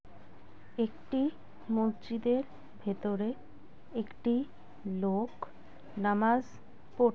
একটি মসজিদের ভেতরে একটি লোক নামাজ প--